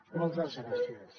moltes gràcies